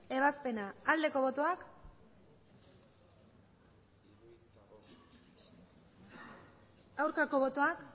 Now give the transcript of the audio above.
ebazpena aldeko botoak aurkako botoak